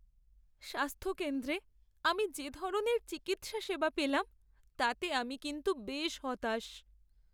স্বাস্থ্যকেন্দ্রে আমি যে ধরনের চিকিৎসা সেবা পেলাম, তাতে আমি কিন্তু বেশ হতাশ।